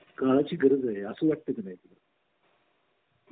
करण्या ची गरज आहे असे वाटत नाही तुला